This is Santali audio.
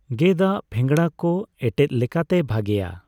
ᱜᱮᱫ ᱟᱜ ᱯᱷᱮᱸᱜᱽᱲᱟ ᱠᱚ ᱮᱴᱮᱫ ᱞᱮᱠᱟᱛᱮ ᱵᱷᱟᱜᱮᱹᱭᱟ ᱾